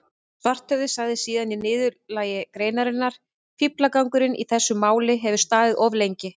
Svarthöfði sagði síðan í niðurlagi greinarinnar: Fíflagangurinn í þessu máli hefur staðið of lengi.